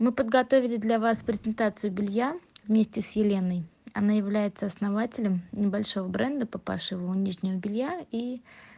мы подготовили для вас презентацию белья вместе с еленой она является основателем небольшого бренда по пошиву нижнего белья и